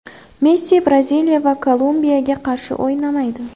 Messi Braziliya va Kolumbiyaga qarshi o‘ynamaydi.